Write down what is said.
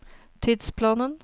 tidsplanen